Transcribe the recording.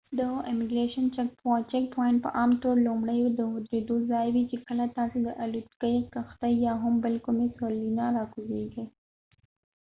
د امګریشن چک پواینټ په عام طور لومړۍ د ودرېدو ځای وي چې کله تاسی د الوتکې کښتۍ یا هم بل کومي سورلۍ نه راکوزیږۍ